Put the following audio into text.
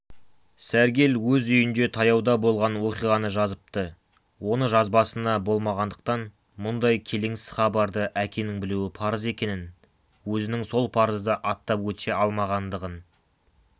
сәргел өз үйінде таяуда болған оқиғаны жазыпты оны жазбасына болмағандықтан мұндай келеңсіз хабарды әкенің білуі парыз екенін өзінің сол парызды аттап өте алмағандығын